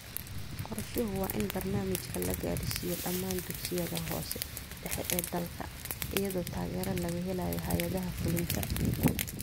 Qorshuhu waa in barnaamijkan la gaadhsiiyo dhammaan dugsiyada hoose/dhexe ee dalka, iyadoo taageero laga helayo hay’adaha fulinta.